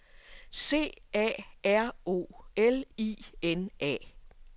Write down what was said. C A R O L I N A